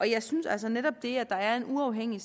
jeg synes altså at netop det at der er en uafhængig